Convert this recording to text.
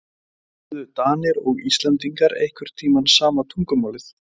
Töluðu Danir og Íslendingar einhvern tíma sama tungumálið?